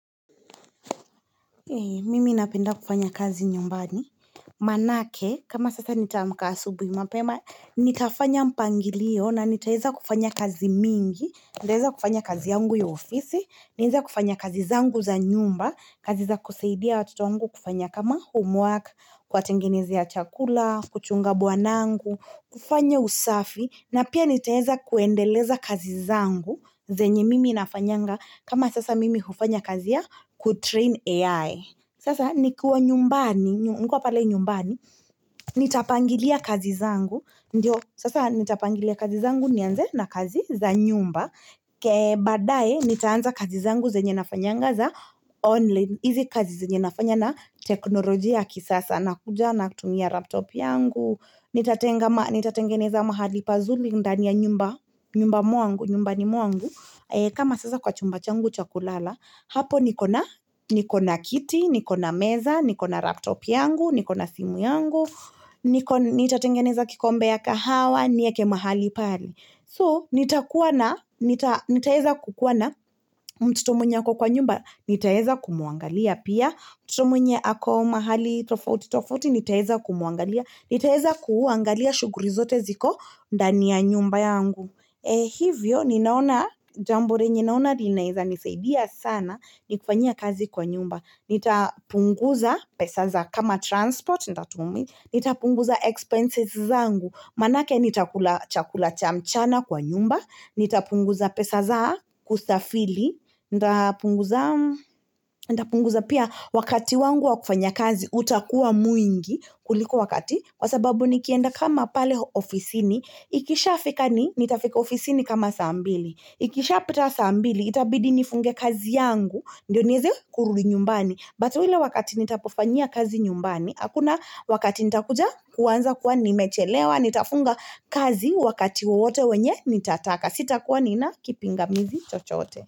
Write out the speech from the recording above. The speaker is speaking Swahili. Mimi napenda kufanya kazi nyumbani. Manake, kama sasa nitaamka asubuhi mapema, nitafanya mpangilio na nitaweza kufanya kazi mingi, nitaweza kufanya kazi yangu ya ofisi, nitaweza kufanya kazi zangu za nyumba, kazi za kusaidia watoto wangu kufanya kama homework, Kuwatengeneza chakula, kuchunga bwanangu, kufanya usafi, na pia nitaweza kuendeleza kazi zangu. Zenye mimi nafanyanga kama sasa mimi hufanya kazi ya kutrain AI Sasa nikiwa nyumbani, nikuwa pale nyumbani Nitapangilia kazi zangu Ndiyo, sasa nitapangilia kazi zangu nianze na kazi za nyumba baadae, nitaanza kazi zangu zenye ninafanyanga za online hizi kazi zenye nafanya na teknolojia kisasa nakuja natumia laptop yangu nitatengeneza mahali pazuri ndani ya nyumba nyumbani mwangu, nyumba ni mwangu kama sasa kwa chumba changu chakulala hapo nikona nikona kiti, nikona meza nikona laptop yangu, nikona simu yangu nitatengeneza kikombe ya kahawa, nieke mahali pali. So, nitakuwa na nitaweza kukuwa na mtoto mwenye ako kwa nyumba nitaweza kumuangalia pia mtoto mwenye ako mahali nitaweza kumuangalia nitaeza kuangalia shuguli zote ziko ndani ya nyumba yangu. Hivyo, ninaona, jambo lenye ninaona linaweza nisaidia sana ni kufanya kazi kwa nyumba. Nitapunguza pesa za kama transport, nitatumi, nitapunguza expenses zangu, maanake nitakula chakula cha mchana kwa nyumba, nitapunguza pesa za kustafiri, Nitapunguza pia wakati wangu wa kufanya kazi utakuwa mwingi kuliko wakati kwa sababu nikienda kama pale ofisini Ikishafika ni nitafika ofisini kama saa mbili Ikisha pita saa mbili itabidi nifunge kazi yangu Ndio niweze kurudi nyumbani But ile wakati nitakapofanyia kazi nyumbani Hakuna wakati nitakuja kuanza kuwa nimechelewa Nitafunga kazi wakati wowote wenye nitataka Sitakuwa nina kipingamizi chochoote.